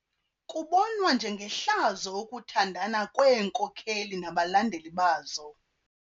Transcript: Kubonwa njengehlazo ukuthandana kweenkokeli nabalandeli bazo.